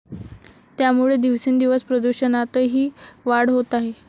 त्यामुळे दिवसेंदिवस प्रदूषणातही वाढ होत आहे.